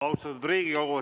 Austatud Riigikogu!